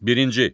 Birinci.